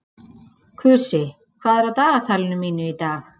Kusi, hvað er á dagatalinu mínu í dag?